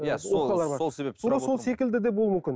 иә сол сол себепті тура сол секілді де болуы мүмкін